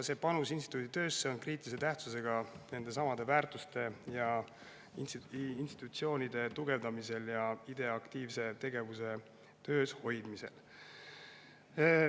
See panus instituudi töösse on kriitilise tähtsusega nendesamade väärtuste ja institutsioonide tugevdamisel ning IDEA aktiivselt tegevuses hoidmisel.